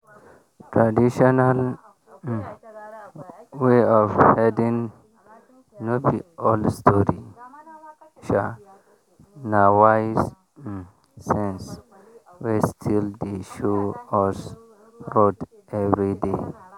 traditional um way of herding no be old story um na wise um sense wey still dey show us road every day.